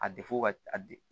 A ka de